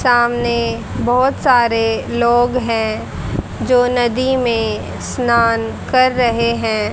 सामने बहोत सारे लोग हैं जो नदी में स्नान कर रहे हैं।